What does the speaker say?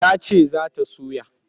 Ta ce za ta soya.